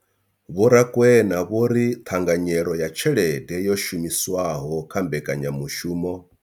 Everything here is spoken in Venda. Vho Rakwena vho ri ṱhanganyelo ya tshelede yo shumiswaho kha mbekanyamushumo.